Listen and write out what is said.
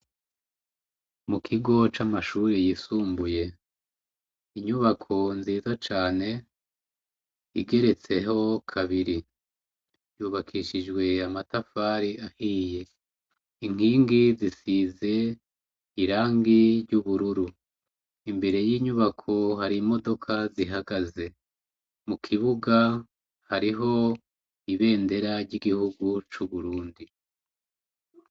Mu kigo c'amashuri yisumbuye inyubako nziza cane igeretseho kabiri yubakishijwe amatafari ahiye inkingi zisize irangi ry'ubururu imbere y'inyubako harimo bdoka zihagaze mu kibuga hariho ibendera ry'igihugu c'uburundi.